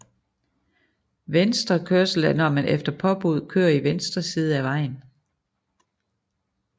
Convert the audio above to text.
Venstrekørsel er når man efter påbud kører i venstre side af vejen